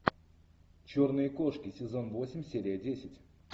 черные кошки сезон восемь серия десять